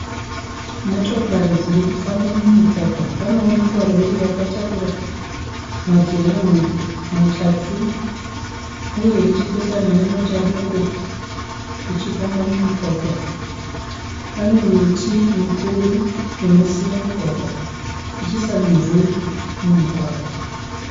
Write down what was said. Motokari dziri kufamba mugwagwa, panoonekwa rori rakatakura madhiramu matatu uye richipesana nemota doko richifamba mumugwagwa pane miti ichiisa mumvuri mumugwagwa.